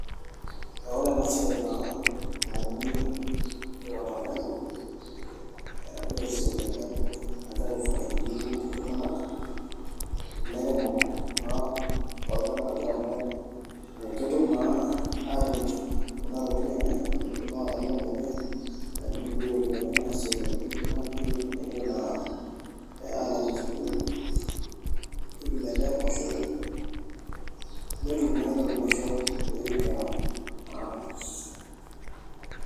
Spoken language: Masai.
Ee ore ena siai naa nauni watermelon aa naa esiai ena nagira aifaidi iltung'anak ilairemok naa lolchmbai amu kidimu naa aatimirr kuna tokitin enye kuna watermelon enye amu etum naa iropiyiani naasie kulie tokitin naijio naa ee aalakie school fees netumie endaa enkoshoke netum naa entoki naisho ee nkera naa.